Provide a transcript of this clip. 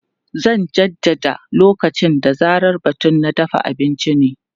Zan jaddada lokaci da zarar batun na dafa abinci ne.